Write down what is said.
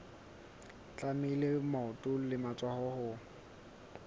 tlamehile maoto le matsoho ho